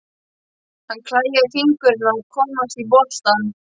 Hann klæjaði í fingurna að komast í boltann.